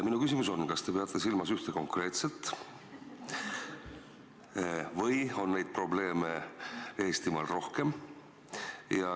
Minu küsimus on: kas te peate silmas ühte konkreetset probleemi või on neid probleeme Eestimaal rohkem?